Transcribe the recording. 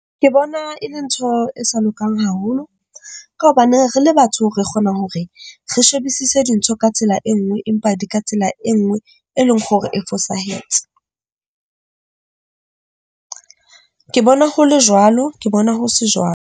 Ke bona e le ntho e sa lokang haholo ka hobane re le batho, re kgona hore re shebisise dintho ka tsela e nngwe empa di ka tsela e nngwe, e leng hore e fosahetse. Ke bona ho le jwalo, ke bona ho se .